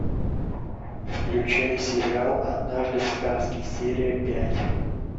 включай сериал однажды в сказке серия пять